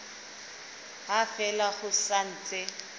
ha fela ho sa ntse